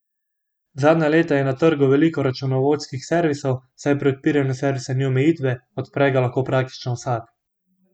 Zadnja leta je na trgu veliko računovodskih servisov, saj pri odpiranju servisa ni omejitve, odpre ga lahko praktično vsak.